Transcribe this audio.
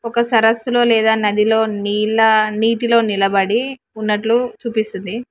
ఒక సరస్సులో లేదా నదిలో నీలా నీటిలో నిలబడి ఉన్నట్లు చూపిస్తుంది.